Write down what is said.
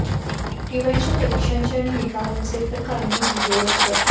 टीवायच्या परीक्षांचे आणि निकालांचे तर कायमच घोळ असतात